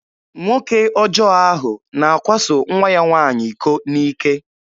Nwoke ọjọ ahụ na-akwaso nwa ya nwaanyị iko n'ike.